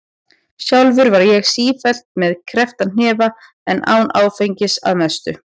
Sjálfur var ég sífellt með kreppta hnefa en án áfengis- að mestu.